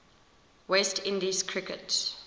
west indies cricket